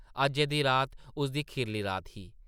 अज्जै दी रात उसदी खीरली रात ही ।